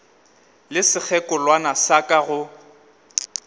le sekgekolwana sa ka go